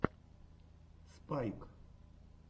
спайк